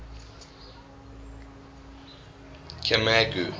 camagu